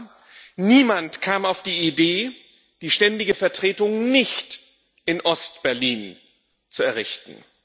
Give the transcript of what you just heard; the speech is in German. Aber niemand kam auf die Idee, die Ständige Vertretung nicht in Ostberlin zu errichten.